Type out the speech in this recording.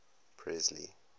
presley